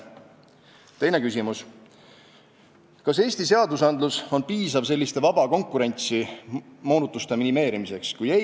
Teine küsimus: "Kas Eesti seadusandlus on piisav selliste vaba konkurentsi moonutuste minimeerimiseks?